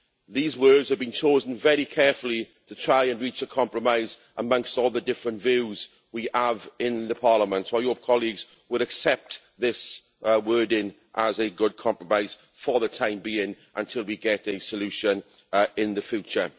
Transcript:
These words have been chosen very carefully to try and reach a compromise amongst all the different views we have in Parliament. I hope colleagues will accept this wording as a good compromise, for the time being, until we get a solution in the future.